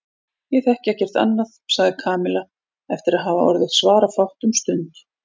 Ég þekki ekkert annað sagði Kamilla eftir að hafa orðið svarafátt um stund.